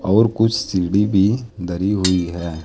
और कुछ सीढ़ी भी धरी हुई है।